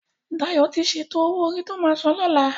Dayo ti sétó ówó órí tó má sán lòlá